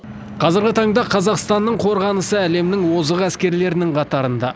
қазіргі таңда қазақстанның қорғанысы әлемнің озық әскерлерінің қатарында